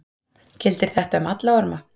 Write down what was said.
Gildir þetta um alla orma?